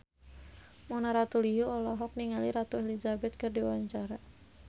Mona Ratuliu olohok ningali Ratu Elizabeth keur diwawancara